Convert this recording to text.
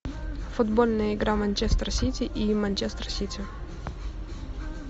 футбольная игра манчестер сити и манчестер сити